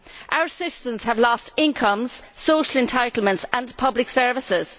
Our citizens have lost incomes, social entitlements and public services.